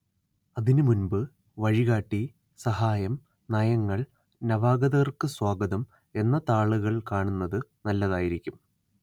അതിനുമുൻപ്‌ വഴികാട്ടി സഹായം നയങ്ങൾ നവാഗതർക്ക്‌ സ്വാഗതം എന്ന താളുകൾ കാണുന്നത്‌ നല്ലതായിരിക്കും